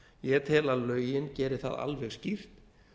ég tel að lögin geri það alveg skýrt